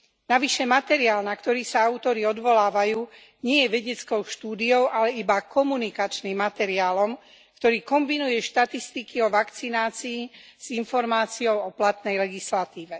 Navyše materiál, na ktorý sa autori odvolávajú, nie je vedeckou štúdiou, ale iba komunikačným materiálom, ktorý kombinuje štatistiky o vakcinácii s informáciou o platnej legislatíve.